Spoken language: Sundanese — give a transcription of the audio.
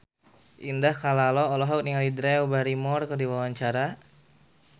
Indah Kalalo olohok ningali Drew Barrymore keur diwawancara